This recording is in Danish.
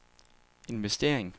investering